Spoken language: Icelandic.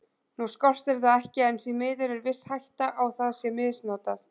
Nú skortir það ekki en því miður er viss hætta á að það sé misnotað.